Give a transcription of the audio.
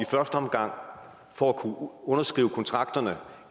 i første omgang for at kunne underskrive kontrakterne